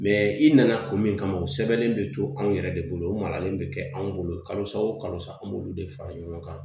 i nana kun min kama u sɛbɛnnen bɛ to anw yɛrɛ de bolo o maralen bɛ anw bolo kalosa o kalosa an b'olu de fara ɲɔgɔn kan